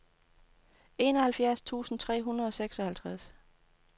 enoghalvfjerds tusind tre hundrede og seksoghalvtreds